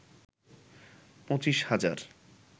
পঁচিশ হাজার